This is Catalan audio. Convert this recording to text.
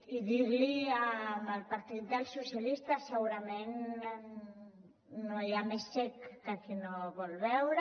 i dir li al partit dels socialistes segurament no hi ha més cec que qui no hi vol veure